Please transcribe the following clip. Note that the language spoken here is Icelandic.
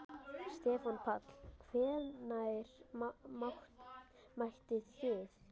Stefán Páll: Hvenær mættuð þið?